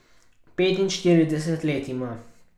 Petinštirideset let ima.